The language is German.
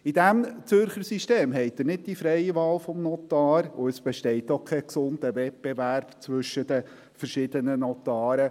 In diesem Zürcher System haben Sie nicht die freie Wahl des Notars, und es besteht auch kein gesunder Wettbewerb zwischen den verschiedenen Notaren.